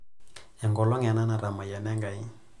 Enkolong' ena natamayiana Enkai.